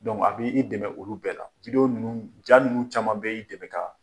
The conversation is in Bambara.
Donc a b' i dɛmɛ olu bɛɛ la videos ninnu ja ninnu caman bɛɛ y'i dɛmɛ ka